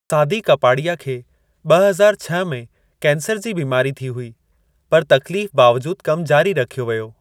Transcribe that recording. सादी कपाड़िया खे ॿ हज़ार छह में कैंसर जी बिमारी थी हुई पर तकलीफ़ बावजूद कमु जारी रखियो वियो।